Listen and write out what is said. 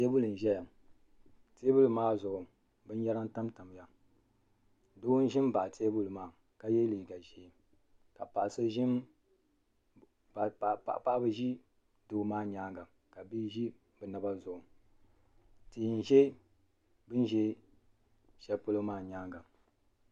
Tɛɛbuli n zɛya tɛɛbuli maa zuɣu bini yara tam tamiya doo n zi mbaɣi tɛɛbuli maa ka ye liiga zee la paɣaba zi doo maa yɛanga ka doo zo o naba zuɣu tii nzɛ bini zɛ shɛli polo maa yɛanga.